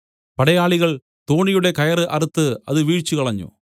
പടയാളികൾ തോണിയുടെ കയറ് അറുത്ത് അത് വീഴിച്ചുകളഞ്ഞു